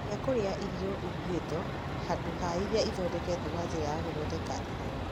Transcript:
Geria kũrĩa irio irugĩtwo handũ ha iria ithondeketwo na njĩra ya gũthondeka irio.